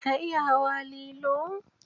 Ka iya hawa lilo?